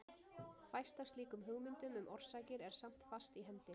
Fæst af slíkum hugmyndum um orsakir er samt fast í hendi.